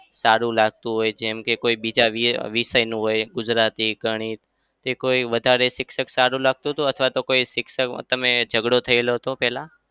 સારું લાગતું હોય જેમ કે કોઈ બીજા વિ~ વિષયનું હોય ગુજરાતી, ગણિત જે કોઈ વધારે શિક્ષક સારું લાગતું હતું અથવા તો કોઈ શિક્ષક તમે ઝઘડો થયેલો હતો પેલા?